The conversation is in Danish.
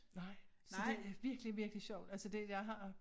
Nej så det virkelig virkelig sjovt altså det jeg har